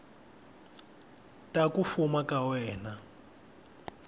te ku fuma ka wena